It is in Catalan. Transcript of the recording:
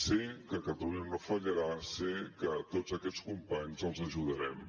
sé que catalunya no fallarà sé que a tots aquests companys els ajudarem